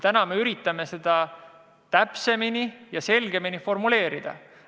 Täna me üritame seda täpsemini ja selgemini formuleerida.